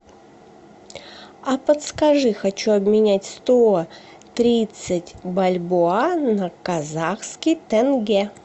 а подскажи хочу обменять сто тридцать бальбоа на казахский тенге